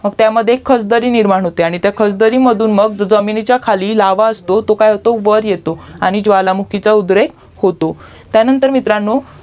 त्यामध्ये एक खाचदारी निर्माण होते आणि त्या खच दरीमधून मग जमीनिकया खाली लावा असतो तो काय होतो तो वर येतो आणि ज्वालामुखीचा उद्रेक होतो त्यानंतर मित्रांनो